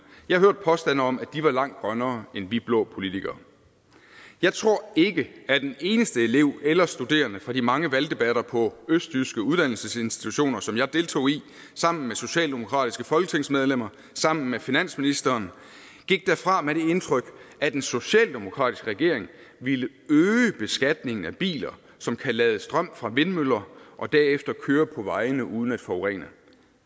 jeg hørte påstande om at de var langt grønnere end vi blå politikere jeg tror ikke at en eneste elev eller studerende fra de mange valgdebatter på østjyske uddannelsesinstitutioner som jeg deltog i sammen med socialdemokratiske folketingsmedlemmer og sammen med finansministeren gik derfra med det indtryk at en socialdemokratisk regering ville øge beskatningen af biler som kan lade strøm fra vindmøller og derefter køre på vejene uden at forurene